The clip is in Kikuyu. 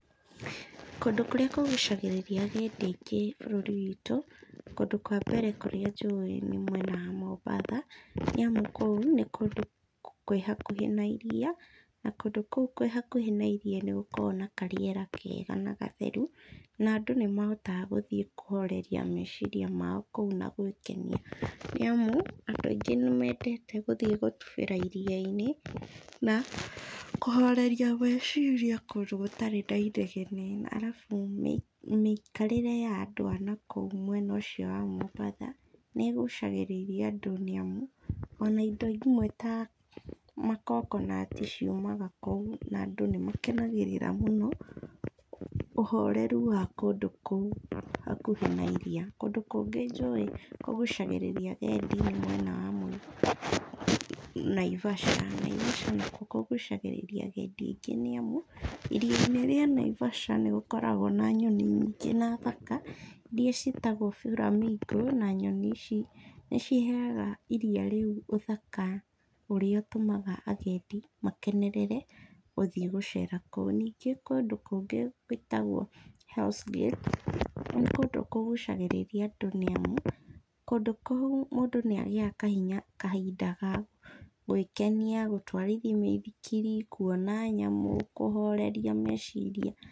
Kũndũ kũrĩa kũgucagĩrĩria agendi aingĩ bũrũri witũ, kũndũ kwa mbere kũrĩa njũĩ nĩ mwena wa Mombatha. Nĩ amu kũu nĩ kũndũ kwĩ hakuhĩ na iria, na kũndũ kũu kwĩ hakuhĩ na iria nĩgũkoragwo na karĩera kega na gatheru, na andũ nĩmahotaga gũthiĩ kũhoreria meciria mao kũu na gwĩkenia. Nĩ amu andũ aingĩ nĩmendete gũthiĩ gũtubĩra iri-inĩ, na kũhoreria meciria kũndũ gũtarĩ na inegene. Arabu mĩikarĩre ya andũ a nakũu mwena ũcio wa Mombatha nĩ ĩgucagĩrĩria andũ nĩ amu ona indo imwe ta makokonati ciumaga na kũu. Na andũ nĩmakenagĩraga mũno ũhoreru wa kũndũ kũu hakuhĩ na iria. Kũndũ kũngĩ njũĩ kũgucagĩrĩria agendi nĩ mwena wa Naivasha. Naivasha nakuo kũgucagĩrĩria agendi aingĩ nĩ amu, iria-inĩ rĩa Naivasha nĩ gũkoragwo na nyoni nyingĩ na thaka iria ciĩtagwo buramingo. Na nyoni ici nĩ ciheaga iria rĩu ũthaka ũrĩa ũtũmaga agendi makenenerere gũthiĩ gũcera kũu. Ningĩ kũndũ kũngĩ gwĩtagwo Hells Gate nĩ kũndũ kũgucagĩrĩria andũ nĩ amu kũndũ kũu mũndũ nĩagĩaga kahinya, kahinda ga gwĩkenia, gũtwarithia mĩithikiri, kuona nyamũ, kũhoreria meciria.